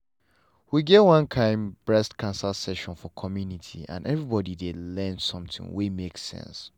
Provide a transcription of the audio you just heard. we get one kind breast cancer session for community and everybody learn something wey make sense.